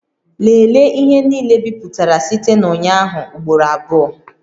Lelee ihe niile ebipụtara site na ụnyaahụ ugboro abụọ